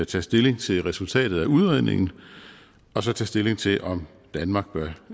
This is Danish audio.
tage stilling til resultatet af udredningen og så tage stilling til om danmark